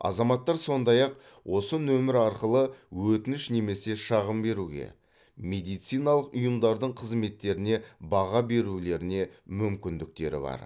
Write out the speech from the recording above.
азаматтар сондай ақ осы нөмер арқылы өтініш немесе шағым беруге медициналық ұйымдардың қызметтеріне баға берулеріне мүмкіндіктері бар